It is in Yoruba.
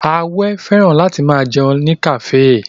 Awẹ́ fẹ́ràn láti máa jẹun ní kafe